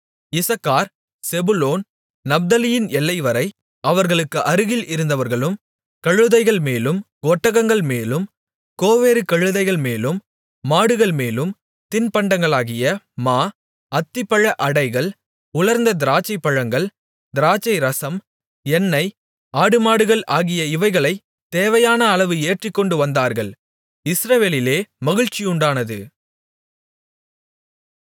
Issachar Zebulun நப்தலியின் எல்லைவரை அவர்களுக்கு அருகில் இருந்தவர்களும் கழுதைகள்மேலும் ஒட்டகங்கள்மேலும் கோவேறு கழுதைகள்மேலும் மாடுகள்மேலும் தின்பண்டங்களாகிய மா அத்திப்பழ அடைகள் உலர்ந்த திராட்சைப்பழங்கள் திராட்சைரசம் எண்ணெய் ஆடுமாடுகள் ஆகிய இவைகளைத் தேவையான அளவு ஏற்றிக்கொண்டு வந்தார்கள் இஸ்ரவேலிலே மகிழ்ச்சியுண்டானது